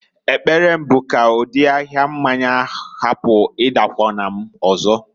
Ekpere m bụ ka ụdị ahia mmanya hapụ ịdakwụna m ọzọ.